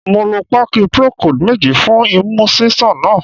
Mo lo páàkì Procold méjì fún imú ṣíṣàn náà.